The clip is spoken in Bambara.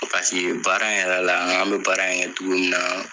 Paseke baara in yɛrɛ la an be baara in kɛ cogo min na